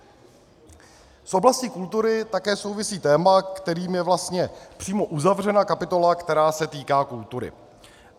S oblastí kultury také souvisí téma, kterým je vlastně přímo uzavřena kapitola, která se týká kultury.